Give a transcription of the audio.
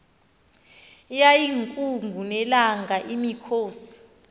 yayiyinkungu nelanga imikhosi